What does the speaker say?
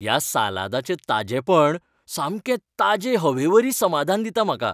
ह्या सालादाचें ताजेपण सामकें ताजे हवे वरी समाधान दिता म्हाका.